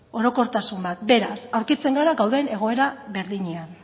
orokortasun bat beraz aurkitzen gara gauden egoera berdinean